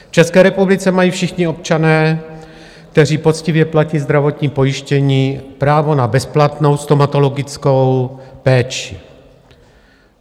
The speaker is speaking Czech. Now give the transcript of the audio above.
V České republice mají všichni občané, kteří poctivě platí zdravotní pojištění, právo na bezplatnou stomatologickou péči.